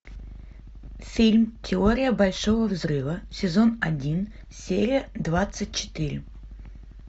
фильм теория большого взрыва сезон один серия двадцать четыре